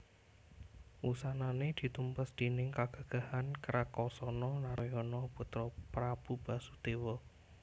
Wusanané ditumpes déning kagagahan Krakasana Narayana putra Prabu Basudéwa